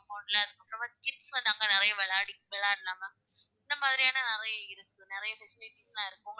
இருக்கு அங்க வந்து kids வந்து அங்க வந்து நிறைய விளையாடி விளையாடிக்கலாம் ma'am இந்த மாதிரியான நிறைய இருக்கு நிறைய facilities லா இருக்கு.